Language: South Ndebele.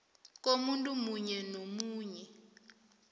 komuntu omunye nomunye